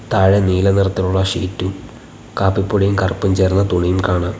താഴെ നീല നിറത്തിലുള്ള ഷീറ്റും കാപ്പിപ്പൊടിയും കറുപ്പും ചേർന്ന തുണിയും കാണാം.